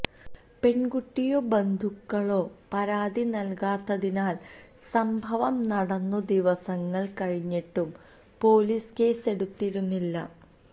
പെണ്കുട്ടിയോ ബന്ധുക്കളോ പരാതി നല്കാത്തതിനാല് സംഭവം നടന്നു ദിവസങ്ങള് കഴിഞ്ഞിട്ടും പൊലീസ് കേസെടുത്തിരുന്നില്ല